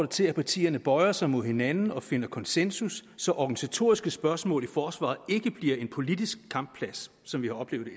til at partierne bøjer sig mod hinanden og finder konsensus så organisatoriske spørgsmål i forsvaret ikke bliver en politisk kampplads som vi har oplevet